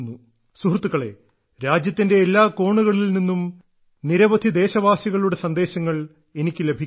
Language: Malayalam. സുഹൃത്തുക്കളെ രാജ്യത്തിന്റെ എല്ലാ കോണുകളിൽ നിന്നും നിരവധി ദേശവാസികളുടെ സന്ദേശങ്ങൾ എനിക്ക് ലഭിക്കുന്നു